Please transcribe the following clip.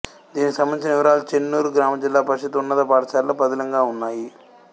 దీనికి సంబంధించిన వివరాలు చెన్నూరు గ్రామ జిల్లా పరిషత్తు ఉన్నత పాఠశాలలో పదిలంగా ఉన్నాయి